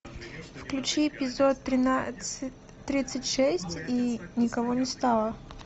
включи эпизод тринадцать тридцать шесть и никого не стало